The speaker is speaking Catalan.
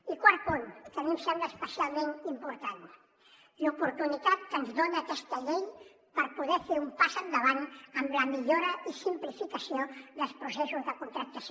i quart punt que a mi em sembla especialment important l’oportunitat que ens dona aquesta llei per poder fer un pas endavant en la millora i simplificació dels processos de contractació